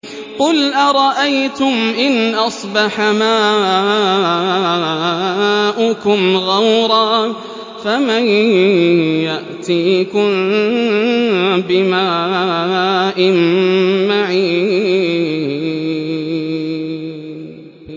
قُلْ أَرَأَيْتُمْ إِنْ أَصْبَحَ مَاؤُكُمْ غَوْرًا فَمَن يَأْتِيكُم بِمَاءٍ مَّعِينٍ